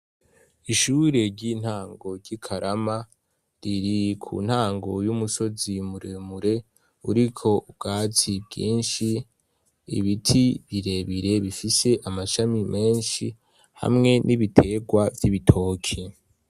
Ishure ry'intango ry'ikarama riri ku ntango y'umusozi muremure, uriko ubwatsi bwinshi ibiti birebire bifise amashami menshi, hamwe n'ibitegwa vy'ibitoki.